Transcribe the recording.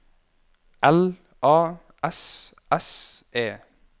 L A S S E